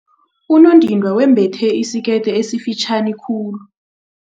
Unondindwa wembethe isikete esifitjhani khulu.